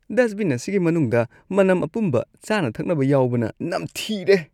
Dust ꯕꯤꯟ ꯑꯁꯤꯒꯤ ꯃꯅꯨꯡꯗ ꯃꯅꯝ ꯑꯄꯨꯝꯕ ꯆꯥꯅ ꯊꯛꯅꯕ ꯌꯥꯎꯕꯅ ꯅꯝꯊꯤꯔꯦ꯫